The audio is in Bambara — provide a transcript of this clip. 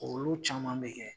Olu caman bɛ kɛ.